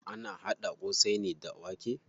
Ana haɗa ƙosai ne da wake.